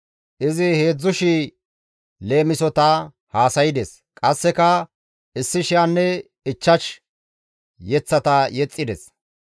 Izi 3,000 leemisota haasaydes; qasseka 1,005 yeththata yexxides.